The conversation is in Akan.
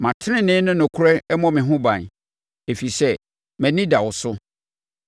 Ma tenenee ne nokorɛ mmɔ me ho ban, ɛfiri sɛ mʼani da wo so.